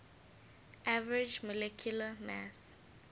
average molecular mass